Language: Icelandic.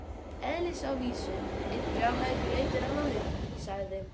Eðlisávísun: einn brjálæðingur leitar annan uppi, sagði